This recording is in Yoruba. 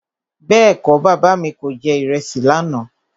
Bẹ́ẹ̀kọ́, Bàbá mi kò jẹ ìrẹsì lànà.